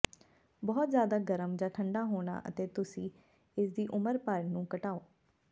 ਬਹੁਤ ਜ਼ਿਆਦਾ ਗਰਮ ਜਾਂ ਠੰਢਾ ਹੋਣਾ ਅਤੇ ਤੁਸੀਂ ਇਸਦੀ ਉਮਰ ਭਰ ਨੂੰ ਘਟਾਓਗੇ